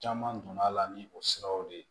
Caman donna a la ni o siraw de ye